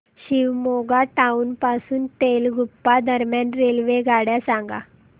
Shivamogga town पासून तलगुप्पा दरम्यान रेल्वेगाड्या सांगा